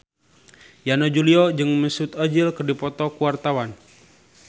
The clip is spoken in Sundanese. Yana Julio jeung Mesut Ozil keur dipoto ku wartawan